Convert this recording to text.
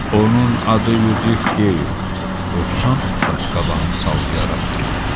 "Onun adı Yudif deyil," dovşan qaşqabağını sallayaraq dedi.